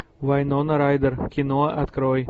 вайнона райдер кино открой